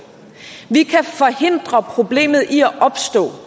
vi kan forhindre problemet i de her